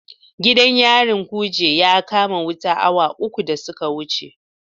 Gidan yarin Kuje ya kama wuta awa uku da suka wuce.